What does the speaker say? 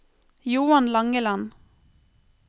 Johan Langeland